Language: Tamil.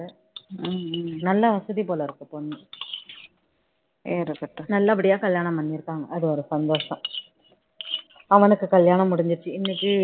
நல்ல வசதி போல இருக்கு பொண்ணு நல்லபடியா கல்யாணம் பண்ணி இருப்பாங்க அது ஒரு சந்தோஷம் அவனுக்கு கல்யாணம் முடிஞ்சிருச்சி இன்னைக்கு